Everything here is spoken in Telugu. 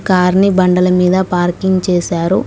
కార్ని బండల మీద పార్కింగ్ చేశారు.